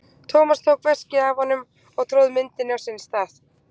Thomas tók veskið af honum og tróð myndinni á sinn stað.